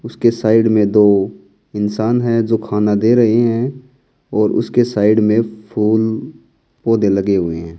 उसके साइड में दो इंसान है जो खाना दे रहे हैं और उसके साइड में फूल पौधे लगे हुए हैं।